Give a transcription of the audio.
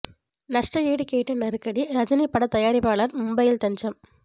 நஷ்ட ஈடு கேட்டு நெருக்கடி ரஜினி பட தயாரிப்பாளர் மும்பையில் தஞ்சம்